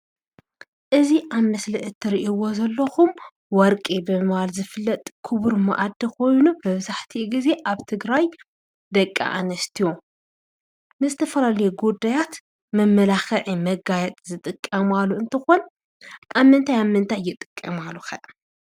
እዙ ኣብ ምስሊ እትሪእዎ ዘለኹም ወርቂ ብምባል ዝፍለጥ ክቡር መዓድን ኮይኑ መብዛሕቲኡ ግዜ ኣብ ትግራይ ደቂ ኣንስትዮ ንዝተፈላለዩ ጉዳያት መመላክዒ መጋየፂ ዝጥቀማሉ እንትኾን ኣብ ምንታይ ኣብ ምንታይ ይጥቀማሉ ከ?